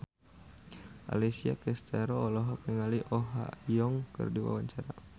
Alessia Cestaro olohok ningali Oh Ha Young keur diwawancara